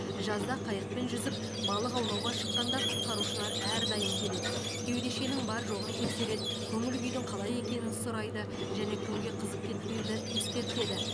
жазда қайықпен жүзіп балық аулауға шыққанда құтқарушылар әрдайым келеді кеудешенің бар жоғын тексереді көңіл күйдің қалай екенін сұрайды және күнге қызып кетпеуді ескертеді